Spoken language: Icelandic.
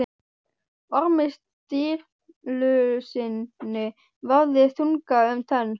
Ormi Sturlusyni vafðist tunga um tönn.